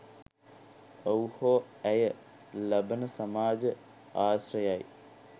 ඔහු හෝ ඇය ලබන සමාජ ආශ්‍රයයි.